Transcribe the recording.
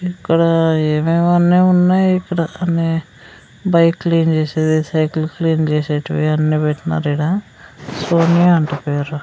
ఇక్కడ ఏమేమో అన్నీ ఉన్నాయి ఇక్కడ అన్ని బైక్ క్లీన్ చేసేది సైకిల్ క్లీన్ చేసేటివి అన్ని పెట్టినారు ఈడ సోనియా అంట పేరు.